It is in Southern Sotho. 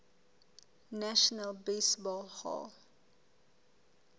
national baseball hall